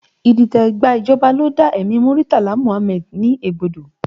Idite gba ìjọba ló dá ẹ̀mí Muritala Muhammad ní egbodo